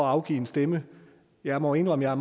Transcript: afgive en stemme jeg må indrømme at